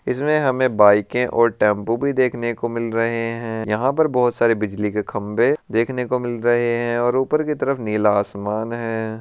इसमें हमे बाइके और टेम्पू भी देखने को मिल रहे है यंहा पर बहुत सरे बिजली के खम्बे देखने को मिल रहे है और ऊपर की आसमान है।